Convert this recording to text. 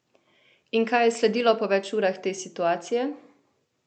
In kaj je sledilo po več urah te situacije?